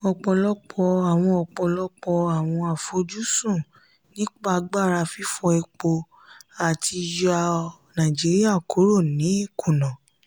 ọ̀pọ̀lọpọ̀ àwọn ọ̀pọ̀lọpọ̀ àwọn àfojúsùn nípa agbára fífọ epo àti yọ naijiria kúrò ní ìkuna.